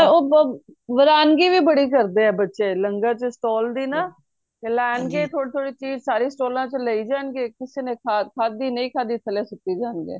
ਉਹ ਵਰਾਨਗੀ ਵੀ ਬੜੀ ਕਰਦੇ ਆ ਬੱਚੇ ਲੰਗਰ ਚ stall ਦੀ ਨਾ ਲੈਣਗੇ ਥੋੜੋ ਥੋੜੀ ਚੀਜ ਸਾਰੇ ਸਟਾਲਾਂ ਚੋ ਲਯੀ ਜਾਨ ਗੇ ਕਿਸੀ ਨੇ ਖਾਦੀ ਨਹੀਂ ਖਾਦੀ ਥਲੇ ਸੁੱਟ ਦਿੱਤੀ